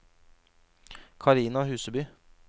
Karina Huseby